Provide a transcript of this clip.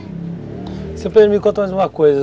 O senhor pode me contar mais uma coisa.